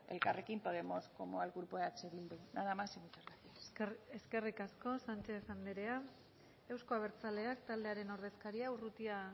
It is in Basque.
elkarrekin podemos como al grupo eh bildu nada más y muchas gracias eskerrik asko sánchez andrea euzko abertzaleak taldearen ordezkaria urrutia